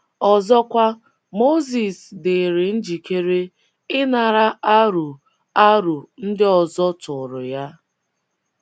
Ọzọkwa, Mozis dịrị njikere ịnara aro aro ndị ọzọ tụụrụ ya.